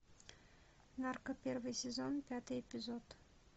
нарко первый сезон пятый эпизод